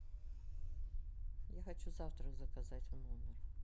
я хочу завтрак заказать в номер